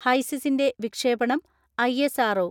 ഹൈസിസിന്റെ വിക്ഷേപണം I S R O.